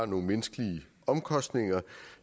nogle menneskelige omkostninger